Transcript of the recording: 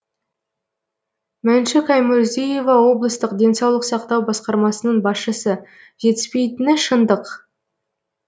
мәншүк аймұрзиева облыстық денсаулық сақтау басқармасының басшысы жетіспейтіні шындық